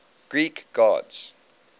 greek gods